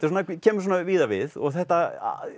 kemur svona víða við og þetta